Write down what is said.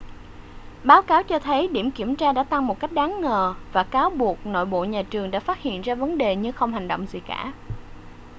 báo cáo cho thấy điểm kiểm tra đã tăng một cách đáng ngờ và cáo buộc nội bộ nhà trường đã phát hiện ra vấn đề nhưng không hành động gì cả